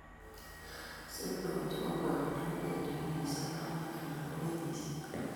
Signals chebo ng'wonindo kobendi wikisiek, arowek ala ko kenyisiek